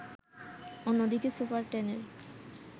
অন্যদিকে সুপার টেনের